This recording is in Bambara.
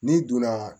N'i donna